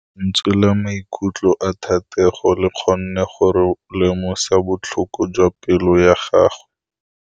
Lentswe la maikutlo a Thategô le kgonne gore re lemosa botlhoko jwa pelô ya gagwe.